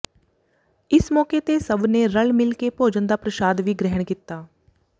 ਇਸ ਮੌਕੇ ਤੇ ਸਭ ਨੇ ਰਲ ਮਿਲ ਕੇ ਭੋਜਨ ਦਾ ਪ੍ਰਸ਼ਾਦ ਵੀ ਗ੍ਰਹਿਣ ਕੀਤਾ